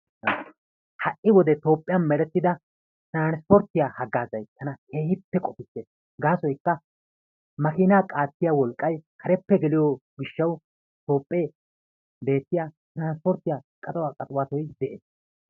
Ha"i wodiyan Toophphiyan merettida tiranspporttiya haggaazay tana keehippe qofissees. Gaasoykka makiinaa qaattiya wolqqay kareppe geliyo gishshawu Toophphpiya makiinaa qaxiwatoy keehippe de'ees.